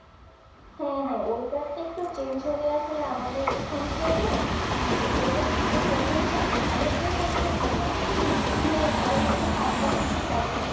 হ্যাঁ হ্যাঁ ওয়েদার টা একটু change হয়ে আসলে আমাদের কি সমস্যা হবে যে weather change অনেকের পরিবর্তন হয় না ঠান্ডাটা একটু